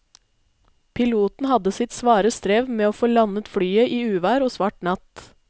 Piloten hadde sitt svare strev med å få landet flyet i uvær og svart natt.